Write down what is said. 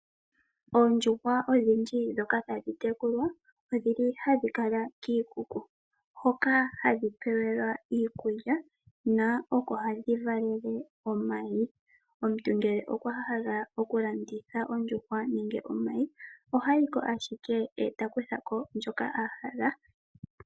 Oondjuhwa odhindji ndhoka tadhibtekulwa odhili ha dhi kala kiikuku, hoka hadhi pewelwa iikulya ko oko hadhi valele omayi. Omuntu ngele okwa hala okulanditha ondjuhwa nenge omayi ohayi ko ashike e ta kuthako ndjoka a hala.